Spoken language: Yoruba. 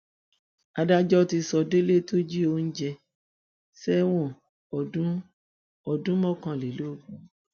adájọ ti sọ délé tó jí oúnjẹ sẹwọn ọdún ọdún mọkànlélógún